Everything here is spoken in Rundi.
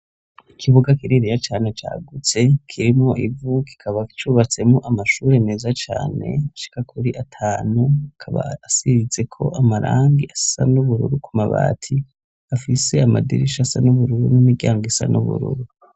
Ikibuga kininiya cane cagutse kirimo ivu kikaba cubatsemo amashuri meza Cane ashika kuri atanu kaba asibitse ko amarangi asa n'ubururu ku mabati afise amadirishasa n'ubururu n'imiryango isa n'ubururu.